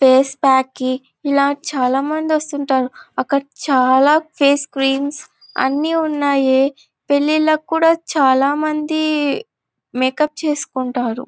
Face pack కి ఇలా చాల మంది వస్తుంటారు అక్కడ చాల ఫేస్ క్రీమ్స్ అన్ని ఉన్నాయే పెళ్లిలకు కూడ చాలమంది మేకప్ చేసుకుంటారు.